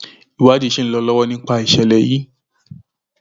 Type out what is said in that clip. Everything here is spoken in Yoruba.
ìwádìí ṣì ń lọ lọwọ nípa ìṣẹlẹ yìí